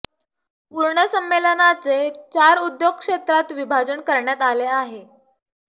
पूर्ण संमेलनाचे चार उद्योग क्षेत्रात विभाजन करण्यात आले आहे